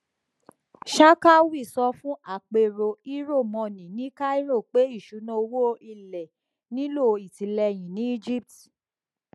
sharkawy sọ fún àpérò euromoney ní cairo pé iṣuna owó ilé nílò itileyin ní egypt